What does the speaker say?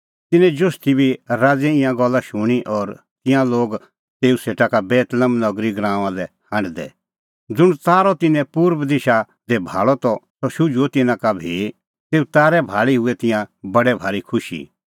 तिन्नैं जोतषी बी राज़ैए ईंयां गल्ला शूणीं और तिंयां लागै तेऊ सेटा का बेतलेहम नगरी गराऊंआं लै हांढदै ज़ुंण तारअ तिन्नैं पुर्बा दिशा दी भाल़अ त सह शुझुअ तिन्नां का भी तेऊ तारै भाल़ी हूऐ तिंयां बडै भारी खुशी